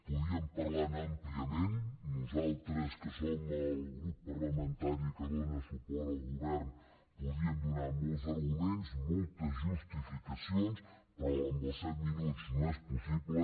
podríem parlar ne àmpliament nosaltres que som el grup parlamentari que dóna suport al govern podríem donar molts arguments moltes justificacions però amb els set minuts no és possible